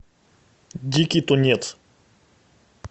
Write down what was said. дикий тунец